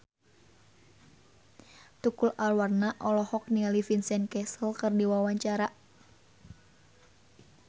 Tukul Arwana olohok ningali Vincent Cassel keur diwawancara